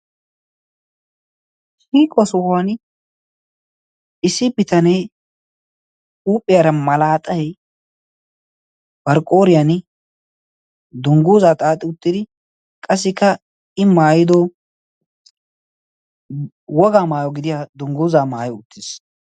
shiiquwa sohuwan issi bitanee huuphiyaara malaaxai barqqooriyan dungguuzaa xaaxi uttidi qassikka i maayido wogaa maayo gidiya dungguuzaa maayo uttiis